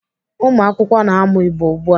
Ụmụakwụkwọ na-amụ Igbo ugbu a.